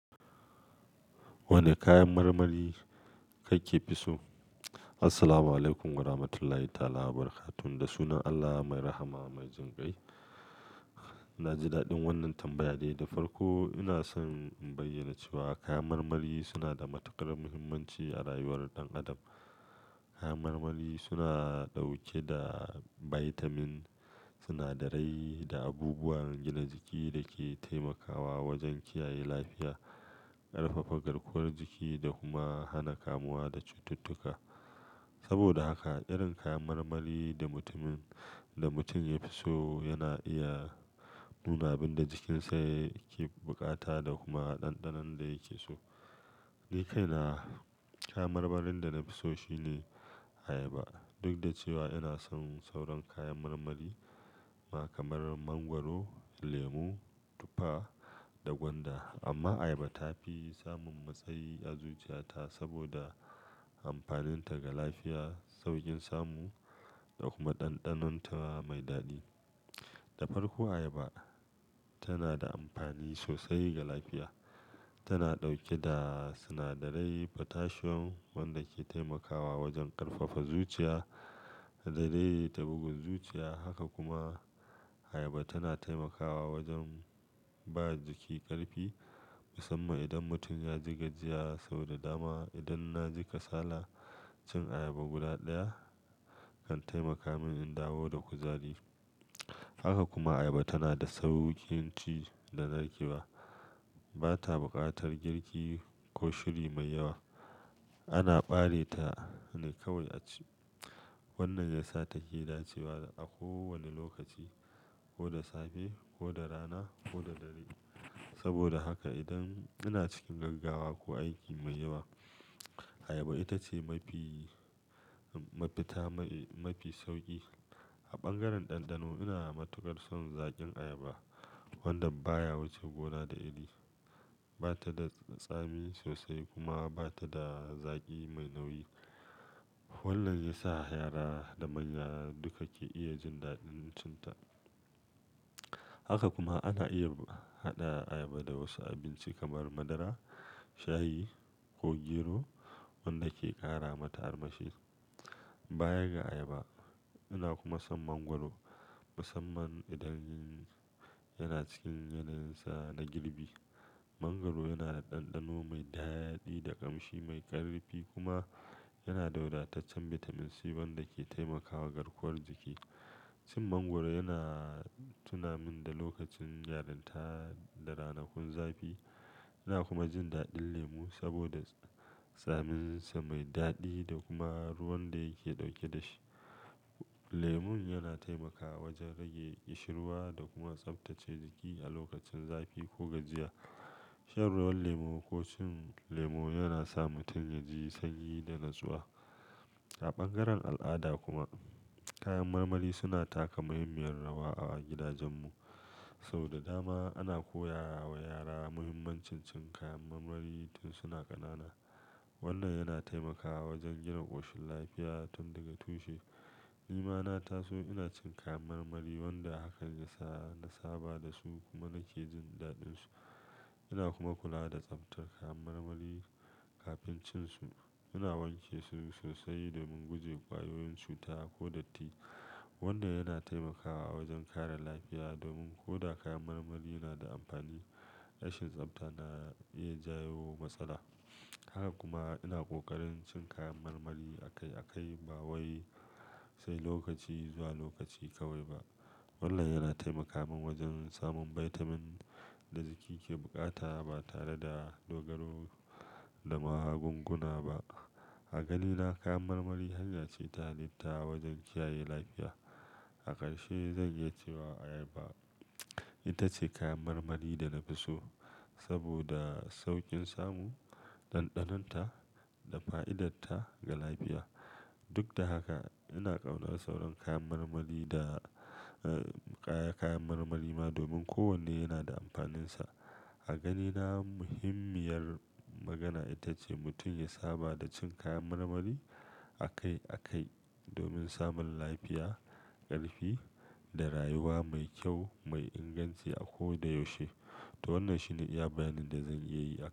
Wane kayan marmari kake fi so? Assalamualaikum warahmatullahi ta'ala wabarakatuh. Da sunan Allah mai rahama mai jinkai. Na ji daɗin wannan tambaya dai da farko. Ina son in bayyana cewa kayan marmari suna da matukar muhimmanci a rayuwar ɗan Adam. Kayan marmari suna ɗauke da bitamin, sinadarai da abubuwan gina jiki da ke taimakawa wajen kiyaye lafiya, ƙarfafa garkuwar jiki da kuma hana kamuwa da cututtuka. Saboda haka, irin kayan marmari da mutumin-- da mutum ya fi so yana iya nuna abin da jikinsa yake bukata da kuma ɗanɗanon da yake so. Ni kaina kayan marmarin da na fi so shine Ayaba. Duk da cewa ina son sauran kayan marmari ma kamar Mangwaro, Lemu, Tufa da Gwanda, amma Ayaba ta fi samun matsayi a zuciyata saboda amfaninta ga lafiya, sauƙin samu da kuma ɗanɗanon ta mai daɗi. Da farko, ayaba tana da amfani sosai ga lafiya. Tana ɗauke da sinadarin potassium wanda ke taimakawa wajen ƙarfafa zuciya da zai tabugu zuciya haka kuma, Ayaba tana taimakawa wajen ba jiki ƙarfi, musamman idan mutum ya ji gajiya. So da dama, idan na ji kasala, cin Ayaba guda ɗaya kan taimaka min in dawo da kuzari. Haka kuma Ayaba tana da sauƙin ci da na ƙi ba. Ba ta buƙatar girki ko shuri mai yawa. Ana ɓare ta ne kawai a ci. Wannan ya sa ta ke da cewa a kowane lokaci, ko da safe, ko da rana, ko da dare. Saboda haka idan ina cikin gaggawa ko aiki mai yawa, Ayaba ita ce mafi mafita mai, mafi sauƙi. A bangaren ɗanɗano, ina matukar son zaƙin Ayaba wanda baya wuce gona da iri. Ba ta da tsami sosai kuma ba ta da zaƙi mai nauyi. Wannan ya sa yara da manya duka ke iya jin daɗin cin ta. Haka kuma ana iya haɗa Ayaba da wasu abinci kamar madara, shayi ko gero wanda ke ƙara mata armashi. Bayan ga Ayaba, ina kuma son Mangwaro musamman idan yana cikin yanayinsa na girbi. Mangwaro yana da ɗanɗano mai daɗi, da ƙamshi mai ƙarfi kuma, yana daudataccen bitamin C wanda ke taimakawa garkuwar jiki. Cin mangwaro yana tuna min da lokacin yaranta da ranakun zafi. Ina kuma jin daɗin Lemu saboda tsaminsa mai daɗi da kuma ruwan da yake ɗauke da shi. Lemun yana taimakawa wajen rage ƙishirwa da kuma tsabtace jiki a lokacin zafi ko gajiya. Shan ruwan Lemu ko cin Lemu yana sa mutum ya ji sanyi da natsuwa. A bangaren al'ada kuma, kayan marmari suna taka muhimmiyar rawa a gidajenmu. So da dama ana koya wa yara muhimmancin cin kayan marmari tun suna ƙanana. Wannan yana taimakawa wajen gina ƙoshin lafiya tun daga tushe. Ni ma na taso ina cin kayan marmari wanda hakan ya sa na saba da su kuma nake jin daɗinsu. Ina kuma kula da tsabtar kayan marmari kafin cin su. Ina wanke su sosai domin guje ƙwayoyin cuta ko datti, wanda yana taimakawa wajen kara lafiya. Domin ko da kayan marmari na da amfani, rashin tsabta na iya jayo matsala. Haka kuma ina ƙoƙarin cin kayan marmari akai-akai ba wai sai lokaci zuwa lokaci kawai ba. Wannan yana taimaka min wajen samun bitamin da jiki ke bukata ba tare da dogaro da magunguna ba. A ganina kayan marmari hanya ce ta halitta wajen kiyaye lafiya. A ƙarshe, zan iya cewa Ayaba ita ce kayan marmari da na fi so saboda sauƙin samu, ɗanɗanon ta da fa'idarta ga lafiya. Duk da haka, ina ƙauna sauran kayan marmari da, eh, kaya-kayan marmari ma domin kowanne yana da amfaninsa. A ganina, muhimmiyar magana ita ce mutum ya saba da cin kayan marmari akai-akai domin samun lafiya, ƙarfi da rayuwa mai kyau mai inganci a koda yaushe. To wannan shine iya bayanin da zan iya yi a.